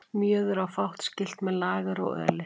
Mjöður á fátt skylt með lager og öli.